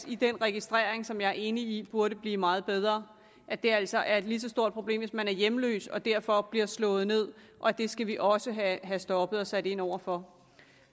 i den registrering som jeg er enig i burde blive meget bedre at det altså er et lige så stort problem hvis man er hjemløs og derfor bliver slået ned og at det skal vi også have stoppet og sat ind over for